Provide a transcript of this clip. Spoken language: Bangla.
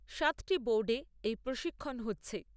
সাতটি বোর্ডে এই প্রশিক্ষন হচ্ছে।